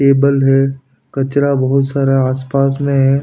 Table है कचरा बहुत सारा आसपास में है।